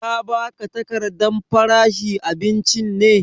Ta ba ka takardan faranshi abincin ne?